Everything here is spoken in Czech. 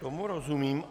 Tomu rozumím.